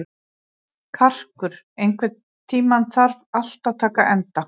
Karkur, einhvern tímann þarf allt að taka enda.